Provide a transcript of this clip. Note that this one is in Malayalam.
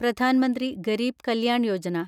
പ്രധാൻ മന്ത്രി ഗരീബ് കല്യാൺ യോജന